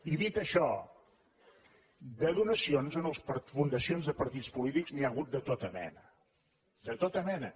i dit això de donacions a fundacions de partits polítics n’hi ha hagut de tota mena de tota mena